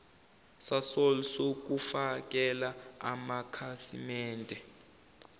sasol sokufakela amakhasimende